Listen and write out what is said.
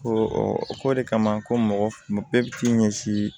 Ko ɔ o ko de kama ko mɔgɔ bɛɛ bɛ k'i ɲɛsin